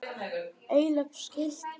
Heilög skylda.